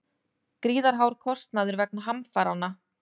Gríðarhár kostnaður vegna hamfaranna